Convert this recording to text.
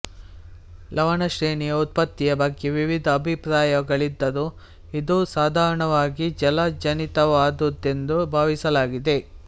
ಲವಣಶ್ರೇಣಿಯ ಉತ್ಪತ್ತಿಯ ಬಗ್ಗೆ ವಿವಿಧ ಅಭಿಪ್ರಾಯಗಳಿದ್ದರೂ ಇದು ಸಾಧಾರಣವಾಗಿ ಜಲಜನಿತವಾದುದೆಂದು ಭಾವಿಸಲಾಗಿದೆ